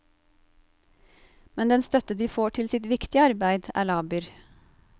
Men den støtte de får til sitt viktige arbeid, er laber.